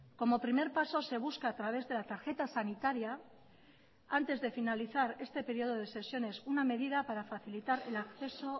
como primer paso se busca a través de la tarjeta sanitaria antes de finalizar este periodo de sesiones una medida para facilitar el acceso